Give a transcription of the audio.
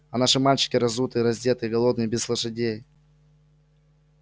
а наши мальчики разутые раздетые голодные без лошадей